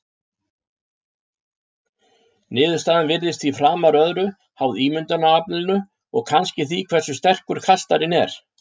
Niðurstaðan virðist því framar öðru háð ímyndunaraflinu og kannski því hversu sterkur kastarinn er.